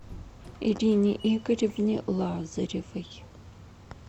ирине игоревне лазаревой